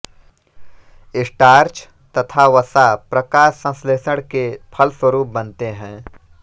starch तथा वसा प्रकाश संश्लेषण के फलस्वरूप बनते हैं